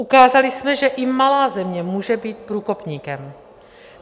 Ukázali jsme, že i malá země může být průkopníkem.